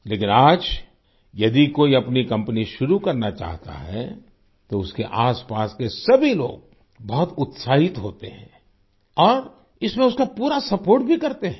लेकिन आज यदि कोई अपनी कंपनी शुरू करना चाहता है तो उसके आसपास के सभी लोग बहुत उत्साहित होते हैं और इसमें उसका पूरा सपोर्ट भी करते हैं